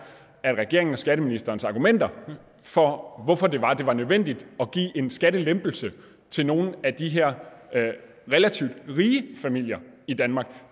at regeringen og skatteministerens argumenter for hvorfor det var nødvendigt at give en skattelempelse til nogle af de her relativt rige familier i danmark